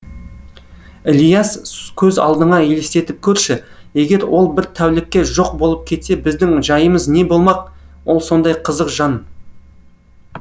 ілияс көз алдыңа елестетіп көрші егер ол бір тәулікке жоқ болып кетсе біздің жайымыз не болмақ ол сондай қызық жан